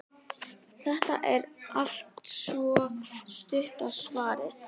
Þetta er altso stutta svarið.